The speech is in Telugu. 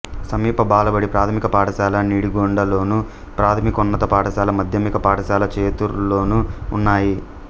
సమీప బాలబడి ప్రాథమిక పాఠశాల నిడిగొండలోను ప్రాథమికోన్నత పాఠశాల మాధ్యమిక పాఠశాల చేతూర్లోనూ ఉన్నాయి